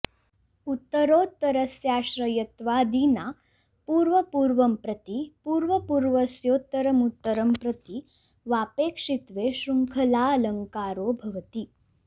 उत्तरोत्तरस्याश्रयत्वादिना पूर्वपूर्वं प्रति पूर्वपूर्वस्योत्तरमुत्तरं प्रति वा पेक्षित्वे शृङ्खलाऽलङ्कारो भवति